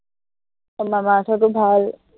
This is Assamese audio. মামা আৰ্থৰটো ভাল